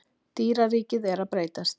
Dýraríkið er að breytast